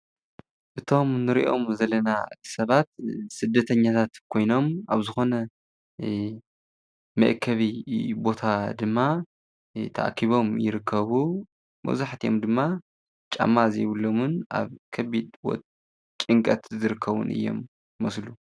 እዚኦም ስደተኛታት ኮይኖም ኣብ ሓደ ቦታ ተኣኪቦም ይርከቡ። ጫማ ዘይብሎም ይርከብዎም።